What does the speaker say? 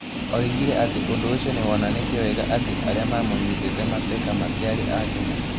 Oigire atĩ ũndũ ũcio nĩ wonanĩtie wega atĩ arĩa maamũnyitĩte mateka matiarĩ a Kenya.